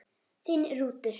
Þinn Rútur.